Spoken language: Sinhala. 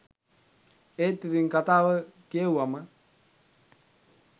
ඒත් ඉතිං කතාව කියෙව්වම